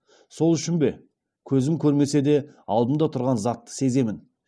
сол үшін бе көзім көрмесе де алдымда тұрған затты сеземін